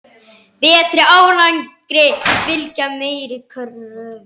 Betri árangri fylgja meiri kröfur.